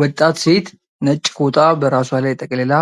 ወጣት ሴት ነጭ ፎጣ በራሷ ላይ ጠቅልላ፣